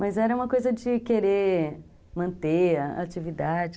Mas era uma coisa de querer manter a atividade.